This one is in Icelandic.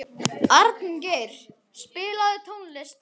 Arngeir, spilaðu tónlist.